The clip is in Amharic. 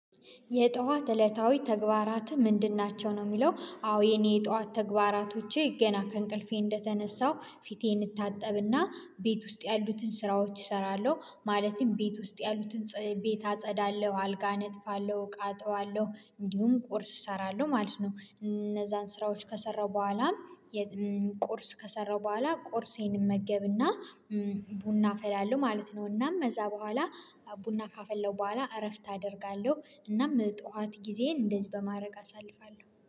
የጧት እለታዊ ተግባራት ምንድን ናቸው ነው? የሚለው አዎ የኔ የጧት ተግባራቶቼ ገና ከእንቅልፌ እንደተነሳው ፊቴ እንታጠብና ቤት ውስጥ ያሉትን ስራዎች እሰራለሁ። ማለትም ቤት ውስጥ ያሉትን ቤት አጸዳለሁ አልጋ አነጥፋለሁ እቃ አጥባለሁ እንዲሁም ቁርስ እሰራለሁ ማለት ነው። እነዛን ስራዎች ከሰራው በኋላም ቁርስ ከሰራው በኋላ ቁርሴን እመገብና ቡና አፈላለው ማለት ነው። እናም ከዛ በኋላ ቡና ካፈለው በኋላ እረፍት አደርጋለሁ። እናም ጠዋት ጊዜዬን እንደዚህ በማድረግ አሳልፋለሁ